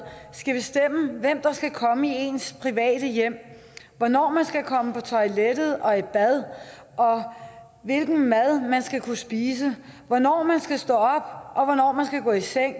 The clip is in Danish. skal bestemme hvem der skal komme i ens private hjem hvornår man kan komme på toilettet og i bad hvilken mad man skal spise hvornår man skal stå op og hvornår man skal gå i seng